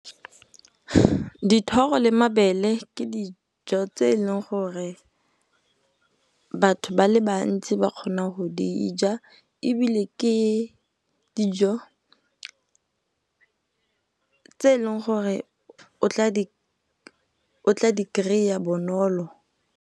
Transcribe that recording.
Dithoro le mabele ke dijo tse eleng gore batho ba le bantsi ba kgona go dija ebile, ke dijo tse e leng gore o tla di kry-a bonolo.